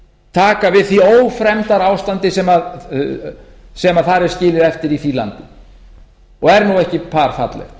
taka við því ófremdarástandi sem þar er skilið eftir í því landi og er nú ekki par fallegt